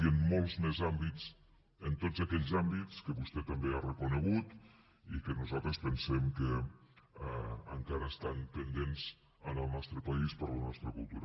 i en molts més àmbits en tots aquells àmbits que vostè també ha reconegut i que nosaltres pensem que encara estan pendents en el nostre país per a la nostra cultura